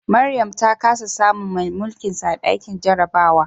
Mariam ta kasa samun mai mulkinsa a dakin jarabawa